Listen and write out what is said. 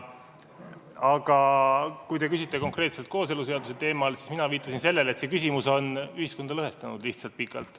Aga kui te küsite konkreetselt kooseluseaduse teemal, siis mina viitasin lihtsalt sellele, et see küsimus on ühiskonda pikalt lõhestanud.